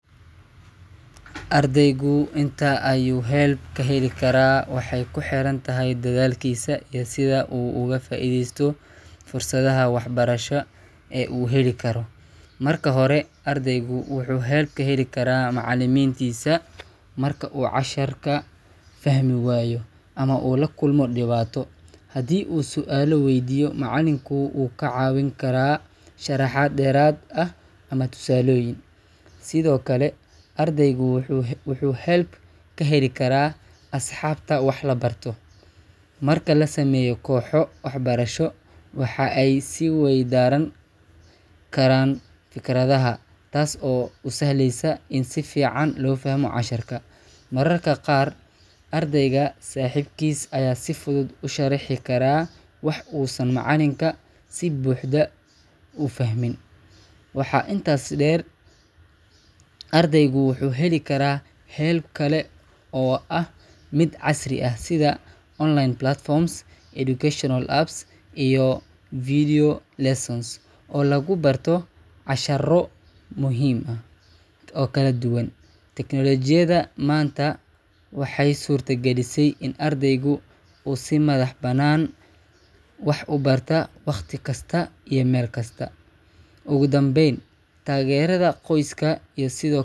Ardaygu inta ayuu help ka heli karaa waxay ku xiran tahay dadaalkiisa iyo sida uu uga faa’iideysto fursadaha waxbarasho ee uu heli karo. Marka hore, ardaygu wuxuu help ka heli karaa macallimiintiisa. Marka uu cashar ku fahmi waayo ama uu la kulmo dhibaato, haddii uu su’aalo weydiiyo, macallinku wuu ka caawin karaa sharaxaad dheeraad ah ama tusaalooyin. Sidoo kale, ardaygu wuxuu help ka heli karaa asxaabta wax la barta. Marka la sameeyo kooxo waxbarasho, waxa ay is-weydaaran karaan fikradaha, taas oo u sahlaysa in si fiican loo fahmo casharka. Mararka qaar, ardayga saaxiibkiis ayaa si fudud u sharaxi kara wax uusan macallinka si buuxda u fahmin. Waxaa intaa dheer, ardaygu wuxuu heli karaa help kale oo ah mid casri ah sida online platforms, educational apps, iyo video lessons oo lagu barto casharro kala duwan. Tiknoolajiyadda maanta waxay suurta galisay in ardaygu uu si madax-bannaan wax u barto wakhti kasta iyo meel kasta. Ugu dambayn, taageerada qoyska sidoo kale.